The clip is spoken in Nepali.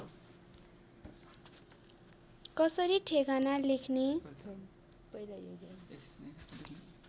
कसरी ठेगाना लेख्ने